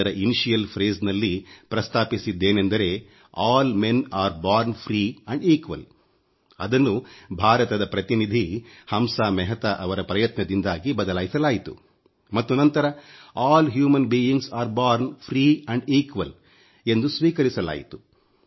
ಅದರ ಉಪಕ್ರಮ ವಾಕ್ಯದಲ್ಲಿ ಪ್ರಸ್ತಾಪಿಸಿದ್ದೇನೆಂದರೆ ಎಲ್ಲಾ ಮನುಷ್ಯರೂ ಮುಕ್ತರು ಮತ್ತು ಸಮಾನರು ಅದನ್ನು ಭಾರತದ ಪ್ರತಿನಿಧಿ ಹಂಸಾ ಮೆಹತಾ ಅವರ ಪ್ರಯತ್ನದಿಂದಾಗಿ ಬದಲಾಯಿಸಲಾಯಿತು ಮತ್ತು ನಂತರ ಎಲ್ಲ ಮಾನವರೂ ಹುಟ್ಟುತ್ತಾರೆ ಮುಕ್ತವಾಗಿ ಮತ್ತು ಸಮಾನರಾಗಿ ಎಂದು ಸ್ವೀಕರಿಸಲಾಯಿತು